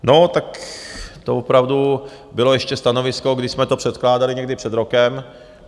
No, tak to opravdu bylo ještě stanovisko, když jsme to předkládali někdy před rokem.